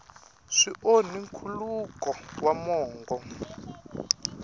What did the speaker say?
swi onhi nkhuluko wa mongo